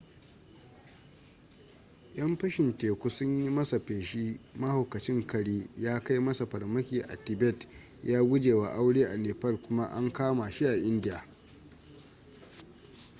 yan fashin teku sun yi masa fashi mahaukacin kare ya kai masa farmaki a tibet ya guje wa aure a nepal kuma an kama shi a india